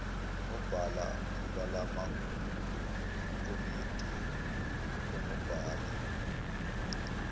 onobhala balamakomidi onobhala